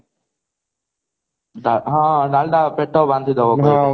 ହଁ ଡାଲଡା ଟା ପେଟ ବାନ୍ଧିଦବ ବହୁତ